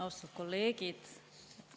Austatud kolleegid!